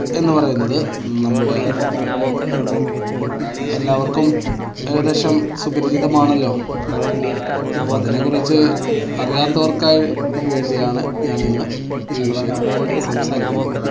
എന്ന് പറയുന്നത് നമ്മുടെ എല്ലാവർക്കും ഏകദേശം സുപരിചിതമാണല്ലോ, അപ്പോ അതിനെ കുറിച്ച് അറിയാത്തവർക്കായി വേണ്ടിയാണ് ഞാൻ ഇന്ന് ഈ വിഷയം സംസാരിക്കുന്നത്.